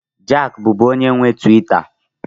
Jack bụbu onye nwe Tiwita.